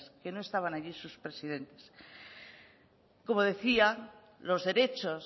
que no estaban allí sus presidentes como decía los derechos